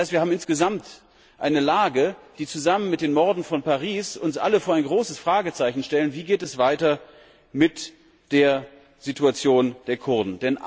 Das heißt, wir haben insgesamt eine Lage, die zusammen mit den Morden von Paris uns alle vor ein großes Fragezeichen stellt Wie geht es weiter mit der Situation der Kurden?